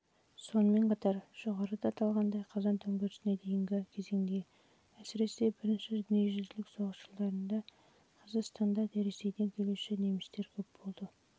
сонымен қатар жоғарыда аталғандай қазан төңкерісіне дейінгі кезеңде әсіресе бірінші дүниежүзілік соғыс жылдарында қазақстанда ресейден келуші немістермен